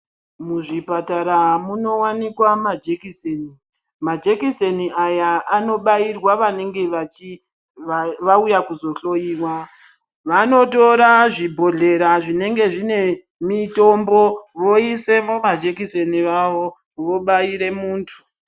Muzvipatara munowanika majekiseni majekiseni aya anobairwa vanenge vachi vauya kuzohloiwa vanotora zvibhodhlera zvinenge zvine mutombo voisemo majekiseni awo vobaire muntu.